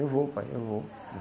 Eu vou, pai, eu vou.